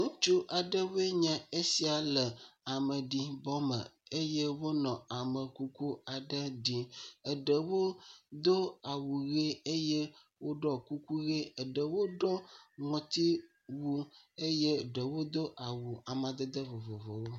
Ŋutsu aɖewoe nye esia le ameɖibɔ me eye wonɔ amekuku aɖe ɖim. Eɖowo do awu ʋie eye eɖewo hã ɖɔ kuku ʋie. Eɖewo ɖɔ ŋɔtiwu eye eɖewo do awu amadede vovovowo.